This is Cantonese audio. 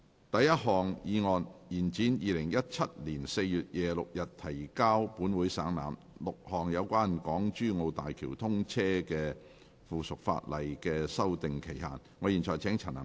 第一項議案：延展於2017年4月26日提交本會省覽 ，6 項有關港珠澳大橋通車的附屬法例的修訂期限。